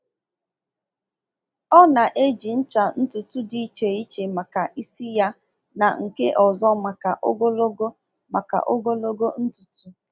Ọ na-eji ncha ntutu dị iche iche maka isi ya na nke ọzọ maka ogologo maka ogologo ntutu.